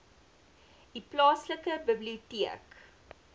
u plaaslike biblioteek